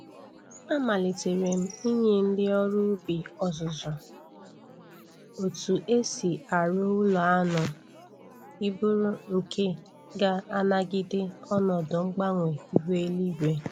Amalitere m inye ndị ọrụ ubi ọzụzụ otu e si arụ ụlọ anụ ịbụrụ nke ga- anagide ọnọdụ mgbanwe ihu eluigwe.